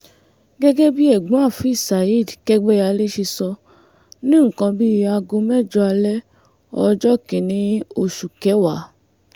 gẹ́gẹ́ bí ẹ̀gbọ́n afeez saheed kẹ́gbẹ́yàlẹ̀ ṣe sọ ní nǹkan bíi aago mẹ́jọ alẹ́ ọjọ́ kìn-ín-ní oṣù kẹwàá